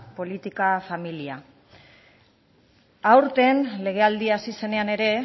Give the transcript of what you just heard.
politika familia aurten legealdia hasi zenean ere